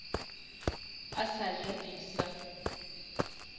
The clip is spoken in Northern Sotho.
a sa ja di sa